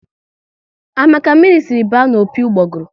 A ma ka mmiri si were baa n'opi ugboguru?